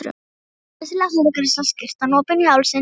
Glæsileg hárgreiðsla, skyrtan opin í hálsinn.